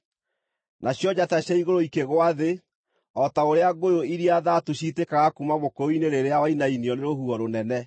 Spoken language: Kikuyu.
nacio njata cia igũrũ ikĩgũa thĩ, o ta ũrĩa ngũyũ iria thaatu ciitĩkaga kuuma mũkũyũ-inĩ rĩrĩa wainainio nĩ rũhuho rũnene.